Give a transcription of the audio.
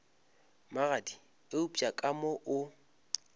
magadi eupša ka mo o